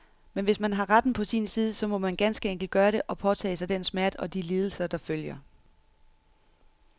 Men hvis man har retten på sin side, så må man ganske enkelt gøre det, og påtage sig den smerte og de lidelser, der følger.